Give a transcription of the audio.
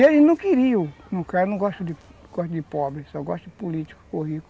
E eles não queriam, de pobre, só gostam de político ou rico.